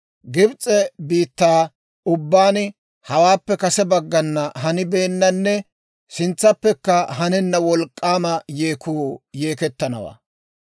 Gibs'e biittaa ubbaan hawaappe kase baggan hanibeennanne sintsappekka hanenna wolk'k'aama yeekuu yeekettanawaa.